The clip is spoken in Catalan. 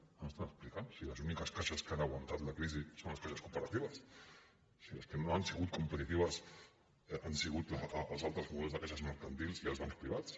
què ens estan explicant si les úniques caixes que han aguantat la crisi són les caixes cooperatives si les que no han sigut competitives han sigut els altres models de caixes mercantils i els bancs privats